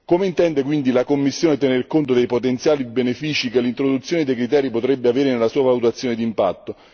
Come intende quindi la Commissione tener conto dei potenziali benefici che l'introduzione dei criteri potrebbe avere nella sua valutazione d'impatto?